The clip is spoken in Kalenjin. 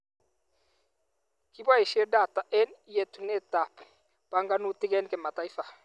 Kiboishet data eng yetunetab banganutik eng kimataifa